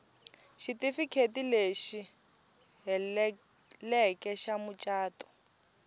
xitifiketi lexi heleleke xa mucato